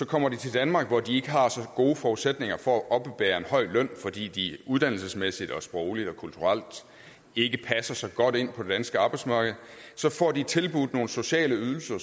kommer til danmark hvor de ikke har så gode forudsætninger for at oppebære en høj løn fordi de uddannelsesmæssigt sprogligt og kulturelt ikke passer så godt ind på det danske arbejdsmarked får de tilbudt nogle sociale ydelser